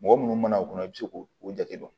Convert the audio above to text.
Mɔgɔ munnu mana o kɔnɔ i bi se k'o jate dɔn